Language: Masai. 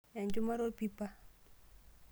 Enchumata orpipa.